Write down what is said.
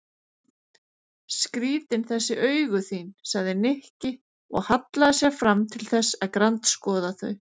Skrýtin þessi augu þín sagði Nikki og hallaði sér fram til þess að grandskoða þau.